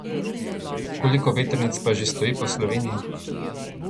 Koliko vetrnic pa že stoji po Sloveniji?